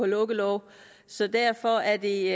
lukkeloven så derfor er det